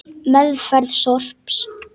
Meðferð sorps